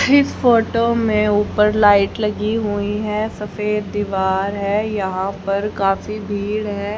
इस फोटो में ऊपर लाइट लगी हुई है सफेद दीवार है। यहां पर काफी भीड़ है।